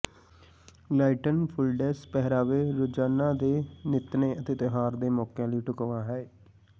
lighten ਫੁੱਲਡੈਸ ਪਹਿਰਾਵੇ ਰੋਜ਼ਾਨਾ ਦੇ ਨਿੱਤਨੇ ਅਤੇ ਤਿਉਹਾਰ ਦੇ ਮੌਕਿਆਂ ਲਈ ਢੁਕਵਾਂ ਹੈ